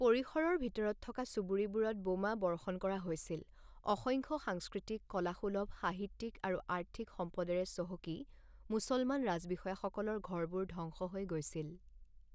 পৰিসৰৰ ভিতৰত থকা চুবুৰীবোৰত বোমা বৰ্ষণ কৰা হৈছিল; অসংখ্য সাংস্কৃতিক, কলাসুলভ, সাহিত্যিক আৰু আৰ্থিক সম্পদেৰে চহকী মুছলমান ৰাজবিষয়াসকলৰ ঘৰবোৰ ধ্বংস হৈ গৈছিল।